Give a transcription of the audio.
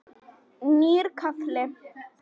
Nýr kafli.